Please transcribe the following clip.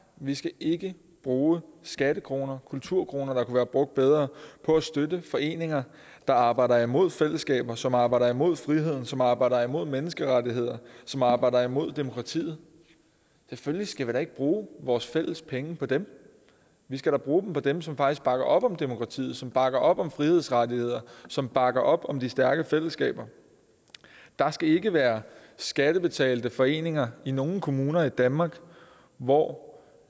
vi skal ikke bruge skattekroner kulturkroner der kunne være brugt bedre på at støtte foreninger der arbejder imod fællesskaber som arbejder mod friheden som arbejder imod menneskerettighederne som arbejder imod demokratiet selvfølgelig skal vi da ikke bruge vores fælles penge på dem vi skal da bruge dem på dem som faktisk bakker op om demokratiet som bakker op om frihedsrettighederne som bakker op om de stærke fællesskaber der skal ikke være skattebetalte foreninger i nogen kommuner i danmark hvor